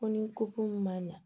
Ko ni ko ko ma ɲa